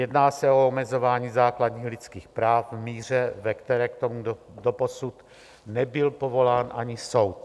Jedná se o omezování základních lidských práv v míře, ve které k tomu doposud nebyl povolán ani soud.